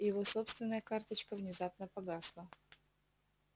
его собственная карточка внезапно погасла